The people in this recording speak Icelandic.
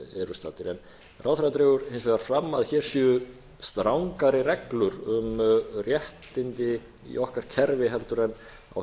eru staddir ráðherra dregur hins vegar fram að hér séu strangari reglur um réttindi í okkar kerfi heldur en á